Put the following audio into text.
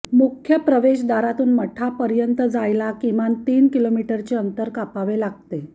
मुख्य प्रवेशद्वारातून मठापर्यंत जायला किमान तीन किलोमीटरचे अंतर कापावे लागते